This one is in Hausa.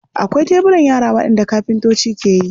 Akwai teburan yara waɗanda kafintoci ke yi.